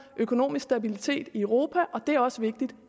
økonomisk stabilitet i europa og det er også vigtigt